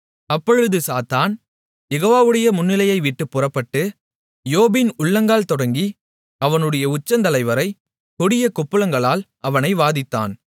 அப்பொழுது சாத்தான் யெகோவாவுடைய முன்னிலையைவிட்டுப் புறப்பட்டு யோபின் உள்ளங்கால் தொடங்கி அவனுடைய உச்சந்தலைவரை கொடிய கொப்புளங்களால் அவனை வாதித்தான்